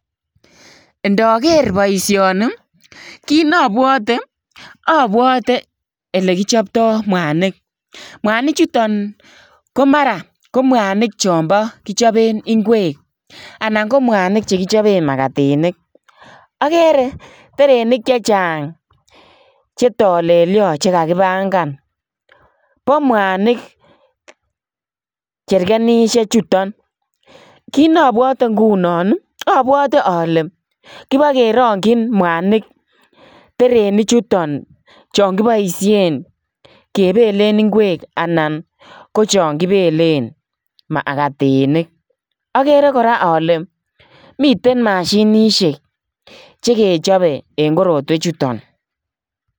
Ndaker boisioni ii kiit ne abwate abwate ele kipchaptai mwanig mwanig chutoon, ko mwanig chambo chaang kichapeen ngweek anan ko mwanig che kichapeen makatinik agere terenik che chaang che talelian che kakipangan ,bo mwanig cherkenushek chutoon kiit na abwate ngunon abwatii ale kibakerangyyin mwanik terenik chutoon chaan kibaisheen kebeleen ngweek anan chaang kibelen magtinik agere kole miten mashinisheek che kechapeen korotweek chutoon.